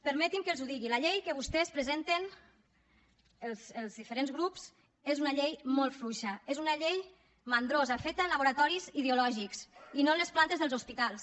permetin me que els ho digui la llei que vostès presenten els diferents grups és una llei molt fluixa és una llei mandrosa feta en laboratoris ideològics i no en les plantes dels hospitals